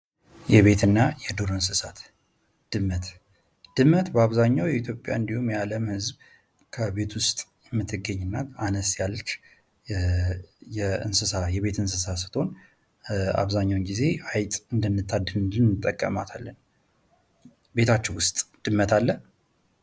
የቤትና የዱር እንስሳት ድመት:- ድመት በአብዛሀኛው የኢትዮጵያ እንዲሁም የዓለም ህዝብ ከቤት ውስጥ የምትገኝ እና አነስ ያለች የቤት እንስሳ ስትሆን አብዛኛውን ጊዜ አይጥ እንድታድንልን እንጠቀምባታለን። ቤታችሁ ውስጥ ድመት አለ?